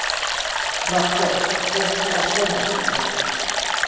Hrafnborg, kveiktu á sjónvarpinu.